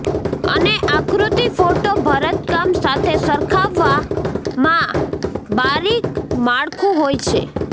અને આકૃતિ ફોટો ભરતકામ સાથે સરખાવવામાં બારીક માળખું હોય છે